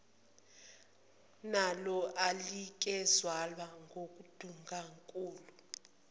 nola anikezelwe ngundunankulu